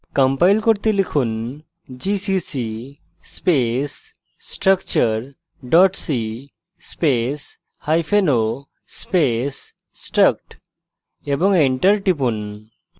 compile করতে লিখুন gcc space structure c space hyphen o space struct এবং enter টিপুন